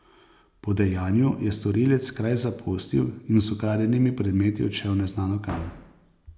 Po dejanju je storilec kraj zapustil in z ukradenimi predmeti odšel neznano kam.